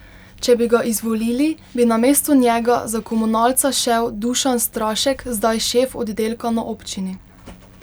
Če bi ga izvolili, bi namesto njega za komunalca šel Dušan Strašek, zdaj šef oddelka na občini.